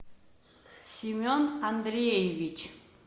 семен андреевич